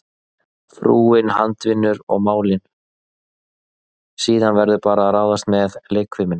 Frúin handavinnu og málin, síðan verður bara að ráðast með leikfimina.